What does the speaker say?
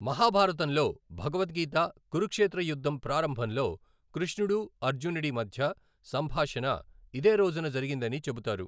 మహాభారతంలో భగవద్గీత, కురుక్షేత్ర యుద్ధం ప్రారంభంలో కృష్ణుడు, అర్జునుడి మధ్య సంభాషణ, ఇదే రోజున జరిగిందని చెబుతారు.